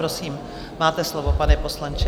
Prosím, máte slovo, pane poslanče.